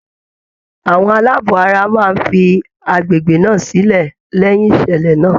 Àwọn aláàbọ̀ ara máa fi agbègbè náà sílẹ̀ lẹ́yin ìṣẹ̀lẹ̀ náà.